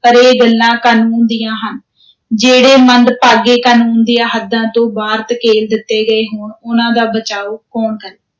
ਪਰ ਇਹ ਗੱਲਾਂ ਕਾਨੂੰਨ ਦੀਆਂ ਹਨ, ਜਿਹੜੇ ਮੰਦਭਾਗੇ ਕਾਨੂੰਨ ਦੀਆਂ ਹੱਦਾਂ ਤੋਂ ਬਾਹਰ ਧਕੇਲ ਦਿੱਤੇ ਗਏ ਹੋਣ, ਉਨ੍ਹਾਂ ਦਾ ਬਚਾਅ ਕੌਣ ਕਰੇ।